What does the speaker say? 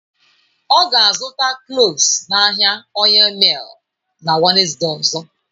Ọ ga-azụta kloves n'ahịa oyil miil na Wenezde ozo.